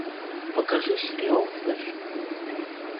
покажи сериал флэш